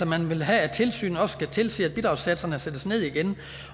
man vil have at tilsynet også skal tilse at bidragssatserne sættes ned igen